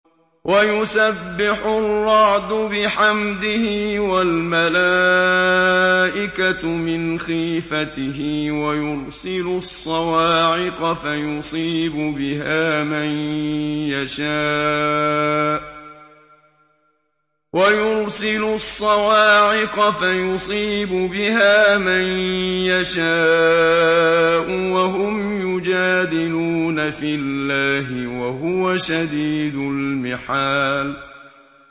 وَيُسَبِّحُ الرَّعْدُ بِحَمْدِهِ وَالْمَلَائِكَةُ مِنْ خِيفَتِهِ وَيُرْسِلُ الصَّوَاعِقَ فَيُصِيبُ بِهَا مَن يَشَاءُ وَهُمْ يُجَادِلُونَ فِي اللَّهِ وَهُوَ شَدِيدُ الْمِحَالِ